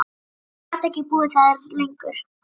Ég gat ekki búið þar lengur.